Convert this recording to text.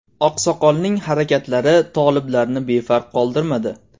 Oqsoqolning harakatlari toliblarni befarq qoldirmadi.